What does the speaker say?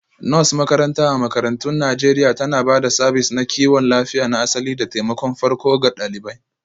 Nurse makaranta a makarantun Najeriya tana ba da sabis na kiwon lafiya na asali da taimakon farko ga ɗalibai